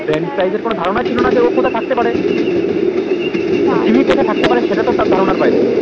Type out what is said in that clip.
বেনফ্রিজ এর এর কোনো ধারণা ছিলোনা যে ও কোথায় থাকতে পারে জিম্মি কোৎস্যে থাকতে পারে সেটা তো তার ধরণের বাইরে